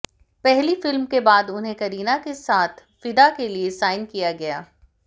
पहली फिल्म के बाद उन्हें करीना के साथ फिदा के लिए साइन किया गया